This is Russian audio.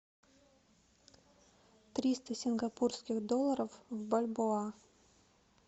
триста сингапурских долларов в бальбоа